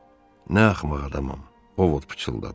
Mən nə axmaq adamam, Ovod pıçıldadı.